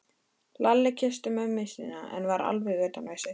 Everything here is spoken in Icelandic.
Lalli kyssti mömmu sína en var alveg utan við sig.